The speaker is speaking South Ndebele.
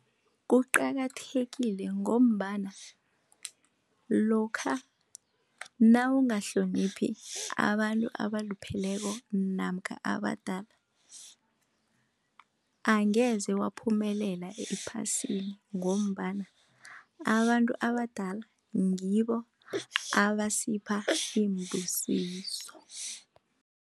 Kuqakathekile ngombana lokha nawungahloniphi abantu abalupheleko namkha abadala, angeze waphumelela ephasini ngombana abantu abadala ngibo abasipha iimbusiso.